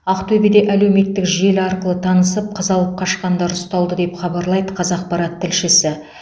ақтөбеде әлеуметтік желі арқылы танысып қыз алып қашқандар ұсталды деп хабарлайды қазақпарат тілшісі